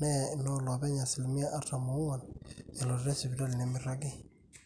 neya inooloopeny asilimia artam oong'wan elototo esipitali nemeiragi